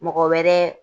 Mɔgɔ wɛrɛ